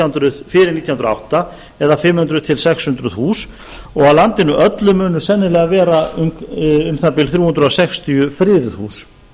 hundruð og átta eða um fimm hundruð til sex hundruð hús og á landinu öllu munu sennilega vera um það bil þrjú hundruð sextíu friðuð hús